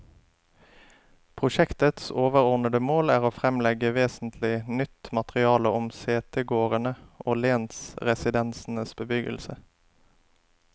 Prosjektets overordede mål er å fremlegge vesentlig nytt materiale om setegårdene og lensresidensenes bebyggelse.